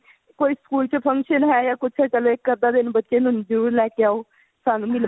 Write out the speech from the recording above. ਕੋਈ ਸਕੂਲ ਵਿੱਚ function ਹੈ ਜਾਂ ਕੁੱਝ ਹੈ ਚਲੋ ਇੱਕ ਅੱਧਾ ਦਿਨ ਬੱਚੇ ਨੂੰ ਜਰੂਰ ਲੈਕੇ ਆਓ ਸਾਨੂੰ